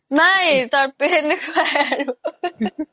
নাই সেনেকুৱাই আৰু